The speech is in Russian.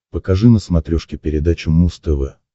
покажи на смотрешке передачу муз тв